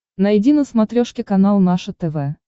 найди на смотрешке канал наше тв